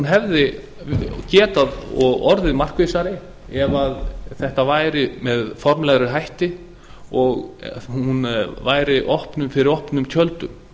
hefði getað og orðið markvissari ef þetta væri með formlegri hætti og hún væri fyrir opnum tjöldum